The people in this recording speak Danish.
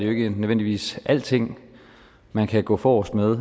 ikke nødvendigvis alting man kan gå forrest med